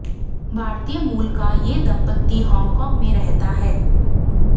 भारतीय मूल का ये दंपति हॉन्गकॉन्ग में रहता है